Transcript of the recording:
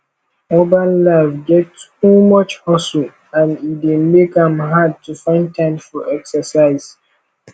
urban life get too much hustle and e dey make am hard to find time for exercise